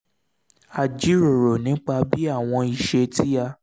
a jíròrò nípa bí àwọn isé tí a